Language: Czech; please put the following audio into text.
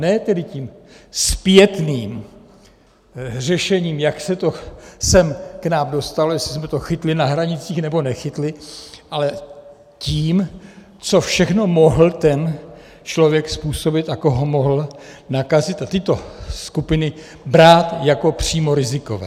Ne tedy tím zpětným řešením, jak se to sem k nám dostalo, jestli jsme to chytli na hranicích nebo nechytli, ale tím, co všechno mohl ten člověk způsobit a koho mohl nakazit, a tyto skupiny brát jako přímo rizikové.